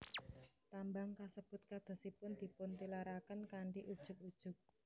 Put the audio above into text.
Tambang kasebut kadosipun dipuntilaraken kanthi ujug ujug